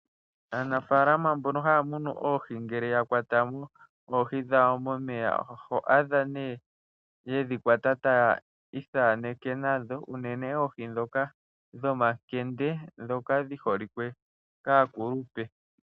Aanafaalama mbono haya munu oohi ngele ya kwata mo oohi dhawo momeya, oho adha nee yedhi kwata taya ithaaneke nadho, unene oohi ndhoka dhomakende ndhoka dhi holike kaakulupe.